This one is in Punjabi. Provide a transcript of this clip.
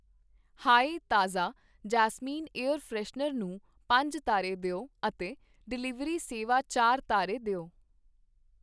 ਹਾਇ ਤਾਜ਼ਾ ਜੈਸਮੀਨ ਏਅਰ ਫਰੈਸ਼ਨਰ ਨੂੰ ਪੰਜ ਤਾਰੇ ਦਿਓ ਅਤੇ ਡਿਲੀਵਰੀ ਸੇਵਾ ਚਾਰ ਤਾਰੇ ਦਿਓ।